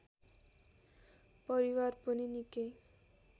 परिवार पनि निकै